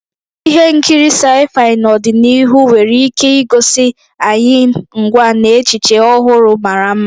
Ihe nkiri sci-fi n'ọdịnihu nwere ike igosi anyị ngwa na echiche ọhụrụ mara mma.